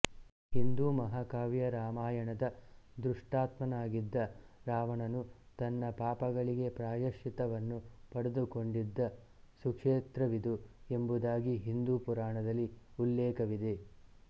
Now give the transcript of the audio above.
ಹಿಂದೂ ಮಹಾಕಾವ್ಯ ರಾಮಾಯಣದ ದುಷ್ಟಾತ್ಮನಾಗಿದ್ದ ರಾವಣನು ತನ್ನ ಪಾಪಗಳಿಗೆ ಪ್ರಾಯಶ್ಚಿತ್ತವನ್ನು ಪಡೆದುಕೊಂಡಿದ್ದ ಸುಕ್ಷೇತ್ರವಿದು ಎಂಬುದಾಗಿ ಹಿಂದೂ ಪುರಾಣದಲ್ಲಿ ಉಲ್ಲೇಖವಿದೆ